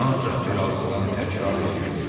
Ancaq bir ağızdan təkrar eləyirdilər.